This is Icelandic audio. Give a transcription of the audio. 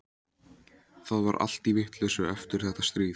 Það var allt í vitleysu eftir þetta stríð.